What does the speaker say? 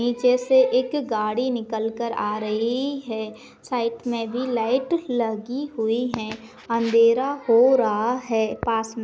पीछे से एक गाड़ी निकलकर आ रही है साइड मे भी लाइट लगी हुई है अंधेरा हो रहा है पास में --